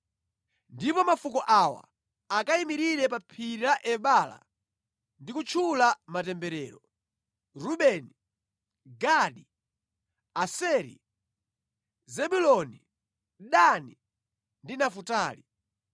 Ndipo mafuko awa akayimirire pa Phiri la Ebala ndi kutchula matemberero: Rubeni, Gadi, Aseri, Zebuloni, Dani ndi Nafutali.